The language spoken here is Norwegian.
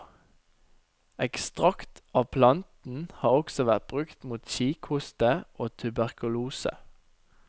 Ekstrakt av planten har også vært brukt mot kikhoste og tuberkulose.